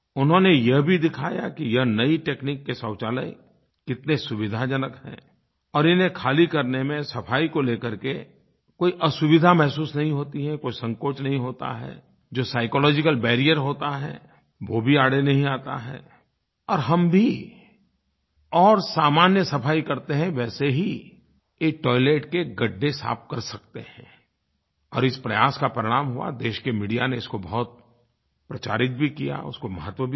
उन्होंने यह भी दिखाया कि यह नई तकनीक के शौचालय कितने सुविधाजनक हैं और इन्हें ख़ाली करने में सफ़ाई को लेकर के कोई असुविधा महसूस नही होती है कोई संकोच नही होता है जो साइकोलॉजिकल बैरियर होता है वो भी आड़े नही आता है और हम भी और सामान्य सफ़ाई करते हैं वैसे ही एक टॉयलेट के गड्ढे साफ़ कर सकते हैं और इस प्रयास का परिणाम हुआ देश के मीडिया ने इसको बहुत प्रचारित भी किया उसको महत्व भी दिया